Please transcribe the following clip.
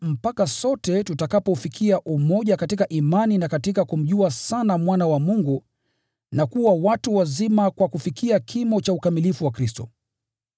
mpaka sote tutakapoufikia umoja katika imani na katika kumjua sana Mwana wa Mungu na kuwa watu wazima kwa kufikia kimo cha ukamilifu wa Kristo.